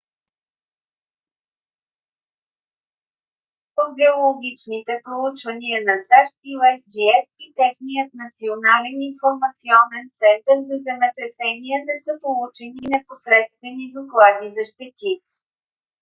от геологичните проучвания на сащ usgs и техният национален информационен център за земетресения не са получени непосредствени доклади за щети